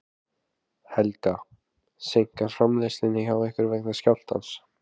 Helga: Seinkar framleiðslu hjá ykkur vegna skjálftans?